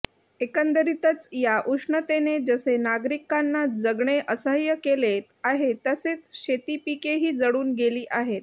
एकंदरीतच या उष्णतेने जसे नागरिकांना जगणे असह्य केले आहेेे तसेच शेतीपिकेही जळून गेली आहेत